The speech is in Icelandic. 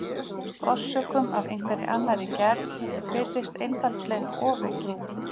Orsökum af einhverri annarri gerð virðist einfaldlega ofaukið.